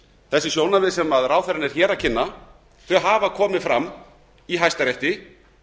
þessi sjónarmið sem ráðherrann er hér að kynna hafa komið fram í hæstarétti